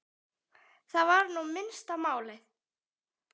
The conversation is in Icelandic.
Það var nú minnsta málið.